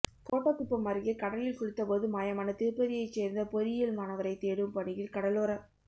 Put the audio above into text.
கோட்டக்குப்பம் அருகே கடலில் குளித்தபோது மாயமான திருப்பதியைச் சோ்ந்த பொறியியல் மாணவரை தேடும் பணியில் கடலோரக்